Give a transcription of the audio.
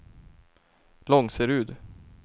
Långserud